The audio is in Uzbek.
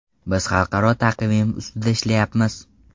Biz xalqaro taqvim ustida ishlayapmiz.